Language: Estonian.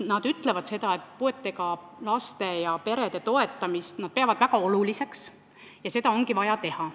Nad ütlevad, et puudega lastega perede toetamist peavad nad väga oluliseks ja seda ongi vaja teha.